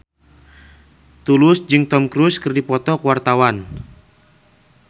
Tulus jeung Tom Cruise keur dipoto ku wartawan